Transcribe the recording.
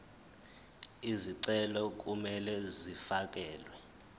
izicelo kumele zifakelwe